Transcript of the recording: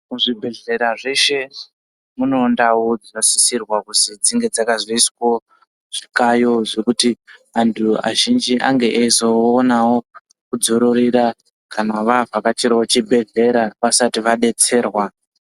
Muzvibhedhlera mweshe munewo ndau dzinosisirwa kuzwi dzinge dzakazoiswawo zvikayo ,zvekuti antu azhinji ange eizoonawo kudzororera, kana vavhakachirawo chibhedhlera vasati vadetserwa.